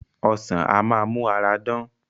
Ọsàn á máa mú ara dán